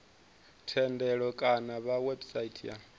thendelo kana kha website ya